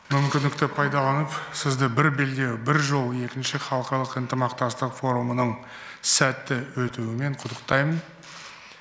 мүмкіндікті пайдаланып сізді бір белдеу бір жол екінші халықаралық ынтымақтастық форумының сәтті өтуімен құттықтаймын